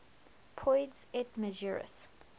poids et mesures